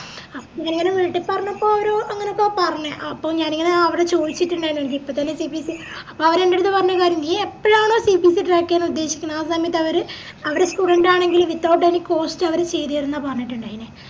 അപ്പൊ ഞാന് വീട്ടിൽ പറഞ്ഞപ്പോ അവര് അങ്ങനൊക്കെയാ പറഞ്ഞെ അഹ് അപ്പൊ ഞാനിങ്ങനെ അവിടെ ചോയിച്ചിറ്റിണ്ടായിന് എനക്കിപ്പോത്തന്നെ CPC അപ്പവര് എൻ്റെടുത്ത് പറഞ്ഞ കാര്യം നീ എപ്പഴാണോ CPCtrack ചെയ്യാനുദ്ദേശിക്കുന്നെ ആ സമയത്തവര് അവരെ student ആണെങ്കില് without any cost അവര് ചെയ്തെരുന്ന പറഞ്ഞിറ്റിണ്ടായിനി